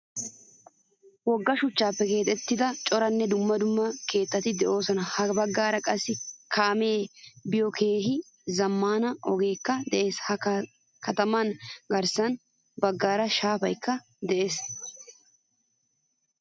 Wogga shuchchappe keexettida coranne dumma dumma keettati deosona. Ha baggaara qassi kaame biyo keehin zammaana ogekka de'ees. Ha kataman garssa baggaara shaafaykka de'ees.